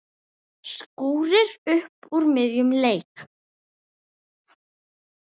Skúrir upp úr miðjum leik.